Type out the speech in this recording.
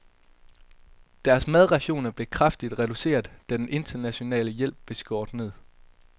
Deres madrationer blev kraftigt reduceret, da den internationale hjælp blev skåret ned.